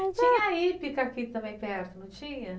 Tinha a hípica aqui também perto, não tinha?